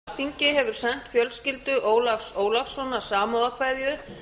forseti vill geta þess að alþingi hefur sent fjölskyldu ólafs ólafssonar samúðarkveðjur